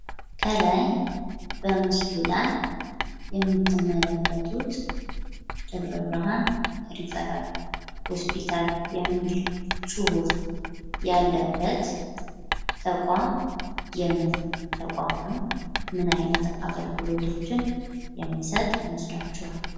ከላይ በምስሉ ላይ የምትመለከቱት ደብረብርሃን ሪፈራል ሆስፒታል የሚል ጽሑፍ ያለበት ተቋም የምን ተቋም ነው? ምን አይነት አገልግሎቶችን የሚሰጥ ይመስላችኋል?